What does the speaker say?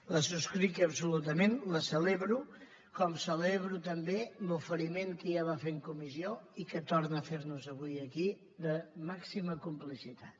la subscric absolutament la celebro com celebro també l’oferiment que ja va fer en comissió i que torna a fer nos avui aquí de màxima complicitat